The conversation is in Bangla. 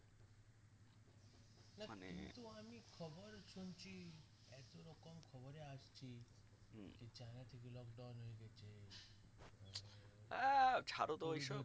আহ ছাড় তো ওই সব